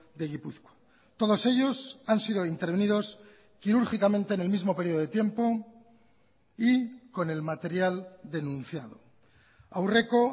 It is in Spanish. de gipuzkoa todos ellos han sido intervenidos quirúrgicamente en el mismo periodo de tiempo y con el material denunciado aurreko